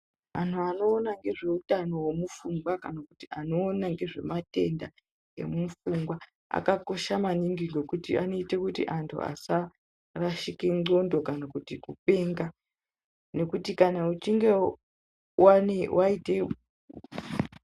Antu anoona ngezvehutano hwemupfunga kanakuti anoona ngezvematenda emupfungwa, akakosha maningi ngekuti anoite kuti antu asa rasike ndxondo kana kuti kupenga. Nekuti kana uchinge vane vaite.